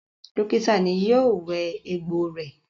Dókítà náà yio wẹ egbò rẹ